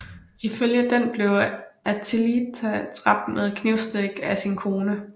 Ifølge den blev Attila dræbt med knivstik af sin kone